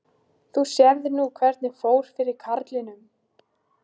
Þú sérð nú hvernig fór fyrir karlinum.